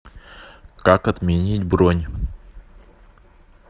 как отменить бронь